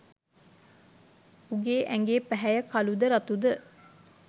උගේ ඇඟේ පැහැය කළුද රතුද